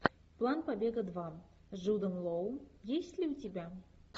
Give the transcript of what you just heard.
план побега два с джудом лоу есть ли у тебя